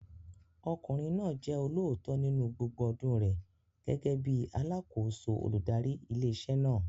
Ọkùnrin náà jẹ́ olóòótọ́ nínú gbogbo ọdún rẹ̀ gẹ́gẹ́ bíi alákòóso olùdarí ilé iṣẹ́ náà.